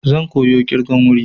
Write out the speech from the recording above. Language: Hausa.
Zan koya ƙirgan wuri.